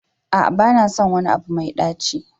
A'a ba na son wani abu mai ɗaci.